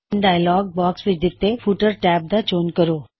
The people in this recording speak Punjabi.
ਹੁਣ ਡਾਇਅਲੌਗ ਬਾਕਸ ਵਿੱਚ ਦਿੱਤੇ ਫੁੱਟਰ ਟੈਬ ਦਾ ਚੋਣ ਕਰੋ